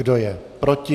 Kdo je proti?